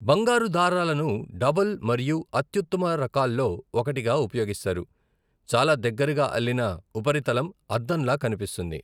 బంగారు దారాలను డబుల్ మరియు అత్యుత్తమ రకాల్లో ఒకటిగా ఉపయోగిస్తారు, చాలా దగ్గరగా అల్లిన ఉపరితలం అద్దంలా కనిపిస్తుంది.